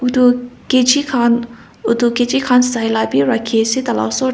etu kg kan oto kg kan sai la bi raki ase tai la osor ti.